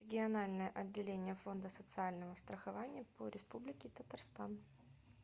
региональное отделение фонда социального страхования по республике татарстан